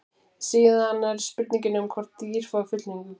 síðan er það spurningin um hvort dýr fái fullnægingu